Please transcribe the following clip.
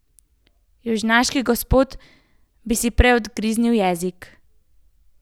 Južnjaški gospod bi si prej odgriznil jezik.